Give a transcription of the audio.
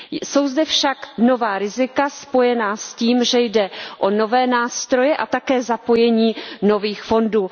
Jsou zde však nová rizika spojená s tím, že jde o nové nástroje a také zapojení nových fondů.